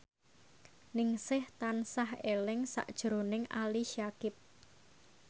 Ningsih tansah eling sakjroning Ali Syakieb